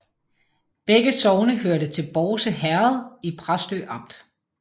Begge sogne hørte til Bårse Herred i Præstø Amt